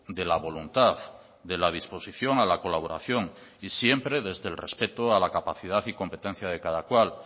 de la voluntad de la disposición a la colaboración y siempre desde el respeto a la capacidad y competencia de cada cual